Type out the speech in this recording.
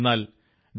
എന്നാൽ ഡോ